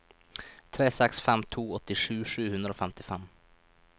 tre seks fem to åttisju sju hundre og femtifem